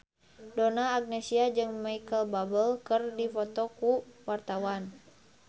Donna Agnesia jeung Micheal Bubble keur dipoto ku wartawan